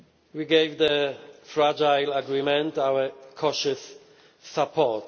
We gave the fragile agreement our cautious support.